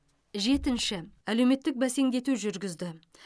жетінші әлеуметтік бәсеңдету жүргізді